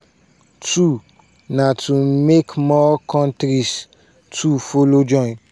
two na to make more kontris to follow join.